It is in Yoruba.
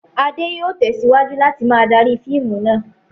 Adé yóò tẹ̀síwájú láti máa darí fíìmù náà.